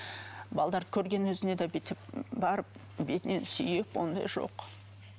көргеннің өзінде де бүйтіп бетінен сүйіп ондай жоқ